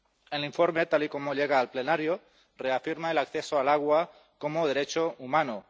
El informe tal y como llega al plenario reafirma el acceso al agua como derecho humano.